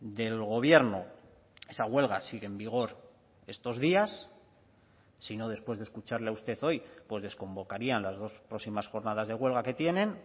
del gobierno esa huelga sigue en vigor estos días si no después de escucharle a usted hoy pues desconvocarían las dos próximas jornadas de huelga que tienen